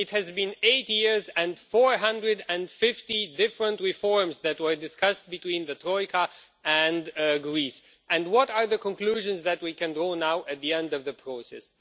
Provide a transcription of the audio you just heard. It has been eight years, and 450 different reforms that were discussed between the Troika and Greece, and what are the conclusions that we can draw now at the end of the process?